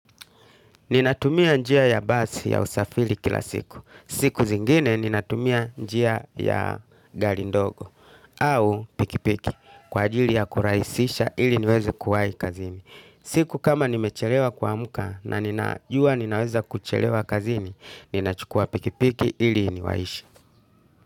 Ninatumia njia ya basi ya usafili kila siku. Siku zingine ninatumia njia ya gari ndogo au pikipiki kwa ajili ya kuraisisha ili niweze kuwai kazini. Siku kama nimechelewa kuamuka na ninajua ninaweza kuchelewa kazini, ninachukua pikipiki ili niwaishi.